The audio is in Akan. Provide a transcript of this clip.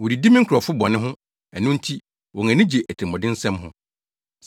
Wodidi me nkurɔfo bɔne ho ɛno nti wɔn ani gye atirimɔdensɛm ho.